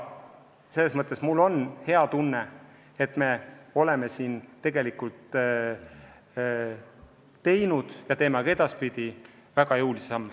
Selles mõttes mul on hea tunne, et me oleme siin tegelikult astunud ja astume ka edaspidi väga jõulisi samme.